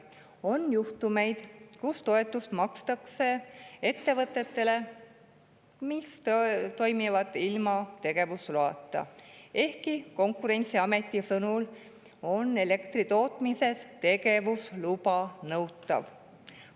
On juhtumeid, kus toetust makstakse ettevõtetele, mis tegutsevad ilma tegevusloata, ehkki Konkurentsiameti sõnul on elektri tootmises tegevusluba nõutav.